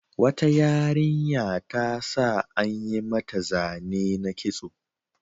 Wata yarinya ta sa an yi mata zane na kitso.